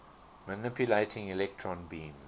manipulating electron beams